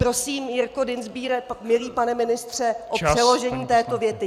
Prosím, Jirko Dienstbiere, milý pane ministře, o přeložení této věty.